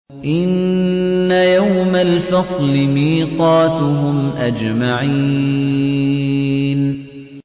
إِنَّ يَوْمَ الْفَصْلِ مِيقَاتُهُمْ أَجْمَعِينَ